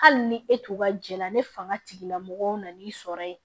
Hali ni e to ka jɛ la ni fanga tigilamɔgɔw nan'i sɔrɔ ye